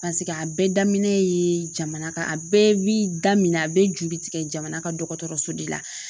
a bɛɛ daminɛlen yee jamana ka a bɛɛ bi da min na a be juru tigɛ jamana ka dɔgɔtɔrɔso de la